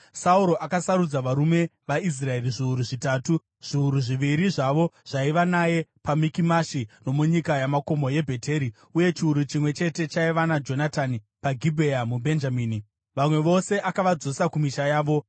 Sauro akasarudza varume vaIsraeri zviuru zvitatu; zviuru zviviri zvavo zvaiva naye paMikimashi nomunyika yamakomo yeBheteri, uye chiuru chimwe chete chaiva naJonatani paGibhea muBhenjamini. Vamwe vose akavadzosa kumisha yavo.